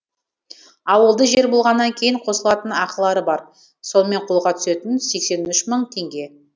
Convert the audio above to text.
ауылды жер болғаннан кейін қосылатын ақылары бар сонымен қолға түсетіні сексен үш мың теңге